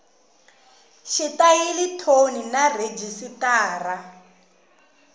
xitayili thoni na rhejisitara